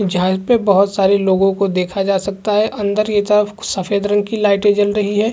झाल पे बहुत सारे लोगों को देखा जा सकता है अंदर की तरफ सफेद रंग की लाइटें जल रही हैं।